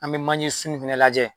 An be manje sun fɛnɛ lajɛ.